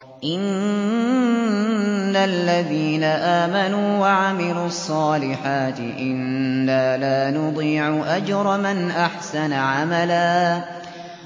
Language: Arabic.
إِنَّ الَّذِينَ آمَنُوا وَعَمِلُوا الصَّالِحَاتِ إِنَّا لَا نُضِيعُ أَجْرَ مَنْ أَحْسَنَ عَمَلًا